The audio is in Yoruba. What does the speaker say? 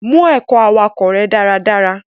Mu ẹ̀kọ́ awakọ rẹ daradara.